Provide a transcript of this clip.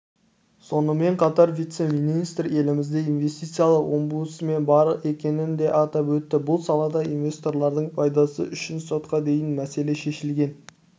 сонымен қатар вице-министр елімізде инвестицилық омбудсмен бар екенін де атап өтті бұл салада инвесторлардың пайдасы үшін сотқа дейін мәселе шешілген